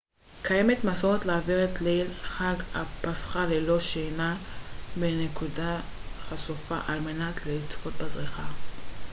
קיימת מסורת להעביר את ליל חג הפסחא ללא שינה בנקודה חשופה על מנת לצפות בזריחה